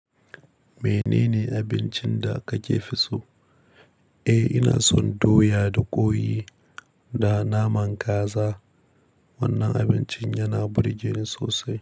Menene abincin da kake fi so? Eh, ina son doya da ƙoyi da naman kaza. Wannan abincin yana burgeni sosai.